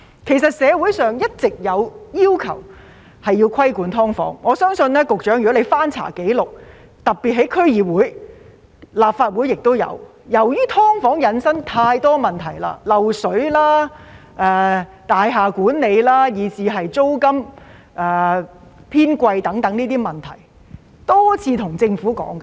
其實，社會上一直有要求規管"劏房"，我相信局長如翻查紀錄，特別是區議會的紀錄，而立法會也有，便會看到由於"劏房"引申太多問題，漏水、大廈管理、租金偏貴等，議員已多次跟政府討論。